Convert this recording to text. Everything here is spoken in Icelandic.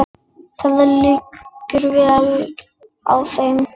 Það liggur vel á þeim.